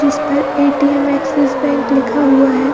जिसपर ATM. Axis bank लिखा हुआ है।